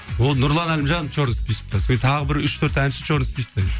о нұрлан әлімжанов черный списокта содан кейін тағы бір үш төрт әнші черный списокта